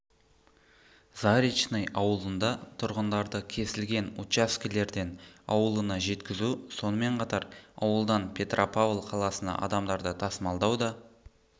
заречный ауылында тұрғындарды кесілген учаскелерден ауылына жеткізу сонымен қатар ауылдан петропавл қаласына адамдарды тасымалдау да